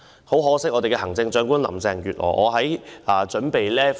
很可惜，我們的行政長官林鄭月娥......